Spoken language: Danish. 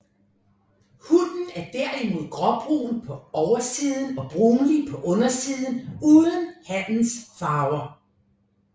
Hunnen er derimod gråbrun på oversiden og brunlig på undersiden uden hannens farver